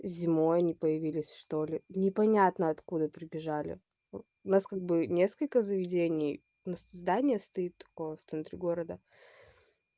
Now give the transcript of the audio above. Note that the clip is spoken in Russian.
зимой они появились что-ли непонятно откуда прибежали у нас как бы несколько заведений и здание стоит в центре города